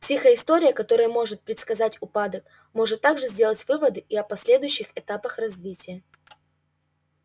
психоистория которая может предсказать упадок может также сделать выводы и о последующих этапах развития